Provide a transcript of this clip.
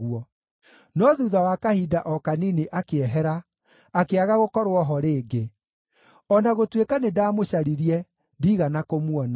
no thuutha wa kahinda o kanini akĩehera, akĩaga gũkorwo ho rĩngĩ; o na gũtuĩka nĩndamũcaririe, ndiigana kũmuona.